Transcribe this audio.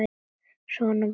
Svona var talað.